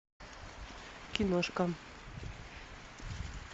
киношка